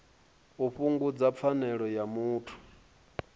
u fhungudza pfanelo ya muthu